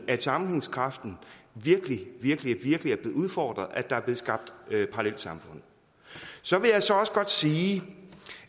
at sammenhængskraften virkelig virkelig er blevet udfordret og at der er blevet skabt parallelsamfund så vil jeg også godt sige